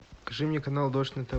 покажи мне канал дождь на тв